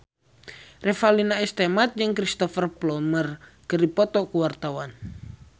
Revalina S. Temat jeung Cristhoper Plumer keur dipoto ku wartawan